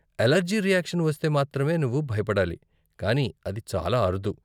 Allergy reaction వస్తే మాత్రమే నువ్వు భయపడాలి, కానీ అది చాలా అరుదు.